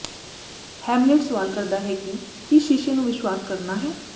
Hamlet ਸਵਾਲ ਕਰਦਾ ਹੈ ਕਿ ਕੀ ਸ਼ੀਸ਼ੇ ਨੂੰ ਵਿਸ਼ਵਾਸ ਕਰਨਾ ਹੈ